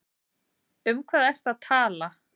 Um hvað ertu að tala?